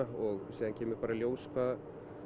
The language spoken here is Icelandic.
síðan kemur bara í ljós hvað